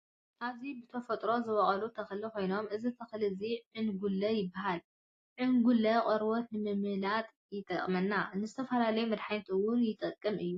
ኣብዚ ብተፈጥሮ ዝበቁል ተኽሊ ኮይነኑ እዚ ተክሊ እዚ ዕንጉለ ይበሃል። ዕንቁለ ቆርበት ንምምላጥ ይጠቅመና ። ንዝተፈላለዩ መድሓኒት እውይ ይጠቅም እዩ።